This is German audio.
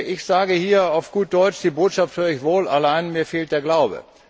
Ich sage hier auf gut Deutsch Die Botschaft hör ich wohl, allein, mir fehlt der Glaube.